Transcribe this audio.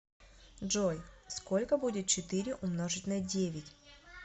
джой сколько будет четыре умножить на девять